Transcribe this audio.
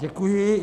Děkuji.